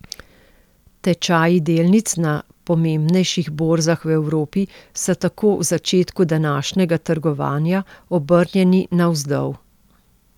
Tečaji delnic na pomembnejših borzah v Evropi so tako v začetku današnjega trgovanja obrnjeni navzdol.